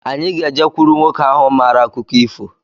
Anyi ga-ejekuru nwoke ahụ mara akụkọ ifo